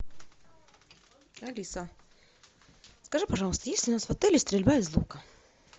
алиса скажи пожалуйста есть ли у нас в отеле стрельба из лука